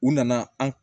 U nana an